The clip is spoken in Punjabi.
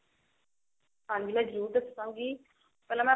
ਹਾਂਜੀ ਮੈਂ ਜਰੁਰ ਦੱਸਾਂਗੀ ਪਹਿਲਾਂ ਮੈਂ